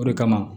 O de kama